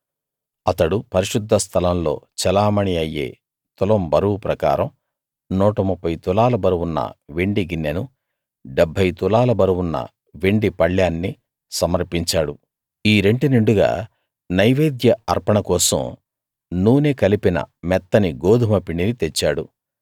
అతడు పరిశుద్ధ స్థలంలో చెలామణీ అయ్యే తులం బరువు ప్రకారం 130 తులాల బరువున్న వెండి గిన్నెనూ 70 తులాల బరువున్న వెండి పళ్ళేన్నీ సమర్పించాడు ఈ రెంటి నిండుగా నైవేద్య అర్పణ కోసం నూనె కలిపిన మెత్తని గోదుమ పిండిని తెచ్చాడు